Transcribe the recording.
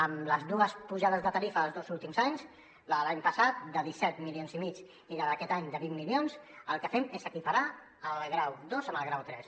amb les dues pujades de tarifa dels dos últims anys la de l’any passat de disset milions i mig i la d’aquest any de vint milions el que fem és equiparar el grau dos amb el grau tres